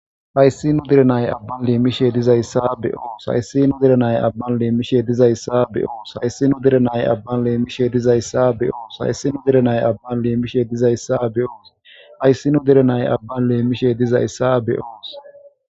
Hayssi nu deere na'ay aaban limmiishe dizayssa be'oos hayssi nu deere na'ay aaban limmiishe dizayssa be'oos hayssi nu deere na'ay aaban limmiishe dizayssa be'oos hayssi nu deere na'ay aaban limmiishe dizayssa be'oos ayssi nu deere na'ay aaban limmiishe dizayssa be'oos.